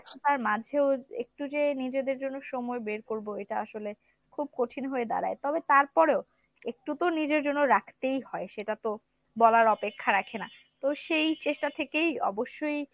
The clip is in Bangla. ব্যস্ততার মাঝে একটু যে নিজেদের জন্য সময় বের করবো এটা আসলে খুব কঠিন হয়ে দাড়ায় তবে তারপরেও একটু তো নিজের জন্য রাখতেই হয়, সেটা তো বলার অপেক্ষা রাখে না। তো সেই চেষ্টা থেকেই অবশ্যই